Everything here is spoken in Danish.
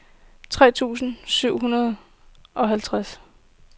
tre tusind syv hundrede og halvtreds